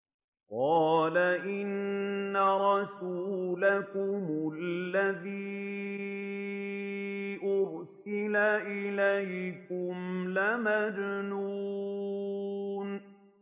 قَالَ إِنَّ رَسُولَكُمُ الَّذِي أُرْسِلَ إِلَيْكُمْ لَمَجْنُونٌ